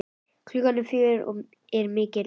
Klukkan fjögur er mikil umferð.